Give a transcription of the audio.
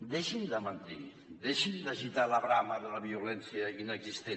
deixin de mentir deixin d’agitar la brama de la violència inexistent